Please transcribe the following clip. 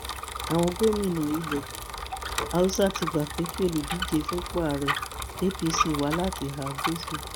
àwọn gómìnà ilẹ haúsá ti gbà pé kí olùdíje fúnpò ààrẹ apc wá láti ìhà gúúsù